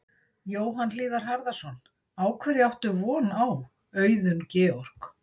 Jóhann Hlíðar Harðarson: Á hverju átt von á, Auðun Georg?